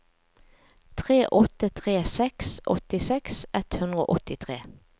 tre åtte tre seks åttiseks ett hundre og åttitre